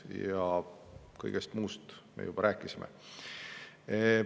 Ja kõigest muust me juba rääkisime.